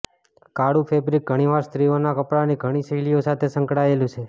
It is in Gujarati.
કાળું ફેબ્રિક ઘણીવાર સ્ત્રીઓના કપડાંની ઘણી શૈલીઓ સાથે સંકળાયેલું છે